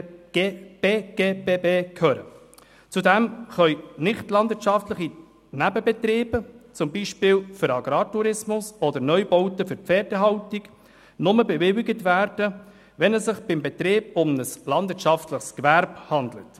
Zudem können nichtlandwirtschaftliche Nebenbetriebe, beispielsweise für Agrartourismus oder Neubauten für Pferdehaltung, nur dann bewilligt werden, wenn es sich beim Betrieb um ein landwirtschaftliches Gewerbe handelt.